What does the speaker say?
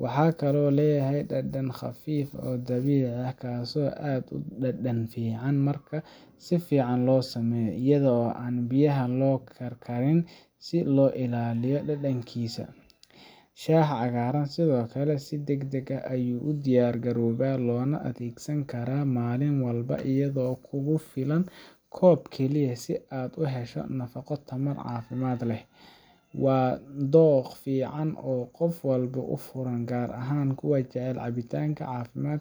Wuxuu kaloo leeyahay dhadhan khafiif ah oo dabiici ah, kaasoo aad u dhadhan fiican marka si fiican loo sameeyo iyada oo aan biyaha aad loo karkarin si loo ilaaliyo dhadhankiisa. Shaaha cagaaran sidoo kale si degdeg ah ayuu u diyaargaroobaa, loona adeegsan karaa maalin walba iyadoo kugu filan koob keliya si aad uga hesho nafaqo iyo tamar caafimaad leh. Waa dookh fiican oo qof walba u furan, gaar ahaan kuwa jecel cabitaan caafimaad